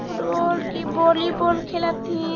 Football की volleyball खेलत हैं।